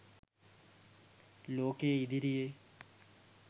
ලෝකය ඉදිරියේ